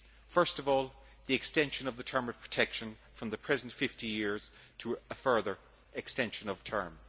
Firstly, the extension of the term of protection from the present 50 years to a further extension of term.